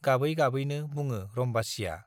गाबै गाबैनो बुङो रम्बासीया।